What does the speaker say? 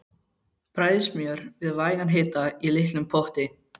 Bræðið smjör við vægan hita í litlum potti.